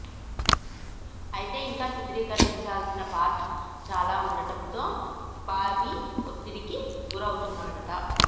అయితే ఇంకా చిత్రీకరించాల్సిన పార్ట్ చాలా వుండడంతో బాబీ ఒత్తిడికి గురవుతున్నాడట